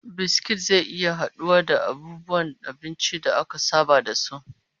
Biskit zai iya haduwa da abubuwan abinci da aka saba da su